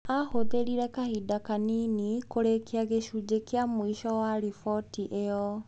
Aahũthĩrire kahinda kanini kũrĩkia gĩcunjĩ kĩa mũico kĩa riboti ĩyo.